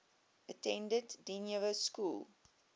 attended dynevor school